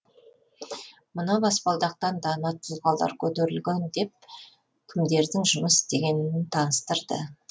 мына баспалдақтан дана тұлғалар көтерілген деп кімдердің жұмыс істегенін таныстырды